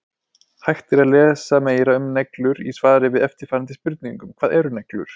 Hægt er að lesa meira um neglur í svari við eftirfarandi spurningum: Hvað eru neglur?